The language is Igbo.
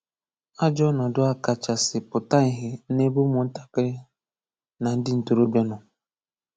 Àjọ̀ ọnọ̀dụ̀ a kacha sị pụta ìhè n’ebe ụmụ́ntàkìrí na ndị ntòròbíà nọ.